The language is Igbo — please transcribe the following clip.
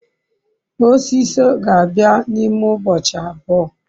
osiso ga-abia na ime ubochi abuo